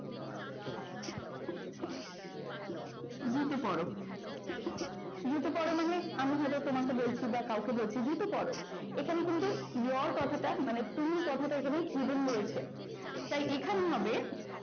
GK পড়ো GK পরও মানে আমি ধরো তোমাকে বলছি বা ওখানে hidden আছে টা কাউকে বলছি জি কে পড়ো এখানে কিন্ত your কথাটা, মানে তুমি কথাটা hidden রয়েছে